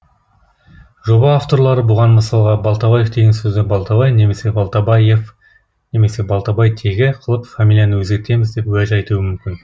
жоба авторлары бұған мысалға балтабаев деген сөзді балтабай немесе балтабайев немесе балтабайтегі қылып фамилияны өзгертеміз деп уәж айтуы мүмкін